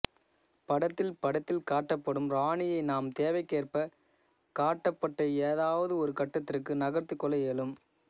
படத்தில் படத்தில் காட்டப்படும் ராணியை நாம் தேவைக்கேற்ப காட்டப்பட்ட ஏதாவது ஒரு கட்டத்திற்கு நகர்த்திக் கொள்ள இயலும்